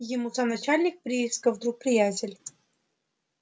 ему сам начальник приисков друг приятель